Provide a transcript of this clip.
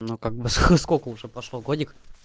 ну как бы сколько уже пошло годик